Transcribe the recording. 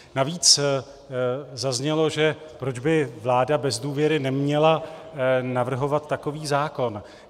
Navíc zaznělo, že proč by vláda bez důvěry neměla navrhovat takový zákon.